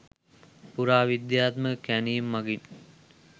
පුරාවිද්‍යාත්මක කැණීම් මගින්